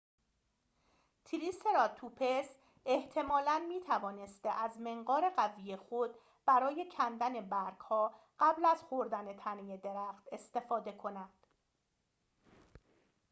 تریسراتوپس احتمالاً می‌توانسته از منقار قوی خود برای کندن برگ‌ها قبل از خوردن تنه درخت استفاده کند